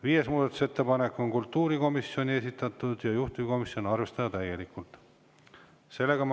Viies muudatusettepanek on kultuurikomisjoni esitatud ja juhtivkomisjoni ettepanek on seda arvestada täielikult.